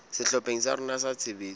sehlopheng sa rona sa tshebetso